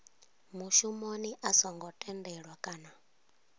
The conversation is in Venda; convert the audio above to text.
mushumoni a songo tendelwa kana